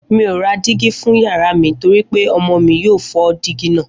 Mi ò ra dígí fún yàrá mi torí pé ọmọ mi yóò fọ́ dígí náà